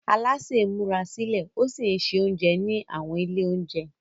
Alásè ń múra sílẹ̀ ó sì ń se oúnjẹ ní àwọn ilé oúnjẹ.